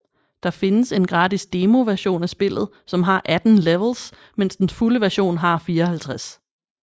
Der findes en gratis demo version af spillet som har 18 levels mens den fulde version har 54